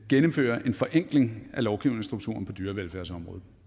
gennemfører en forenkling af lovgivningsstrukturen på dyrevelfærdsområdet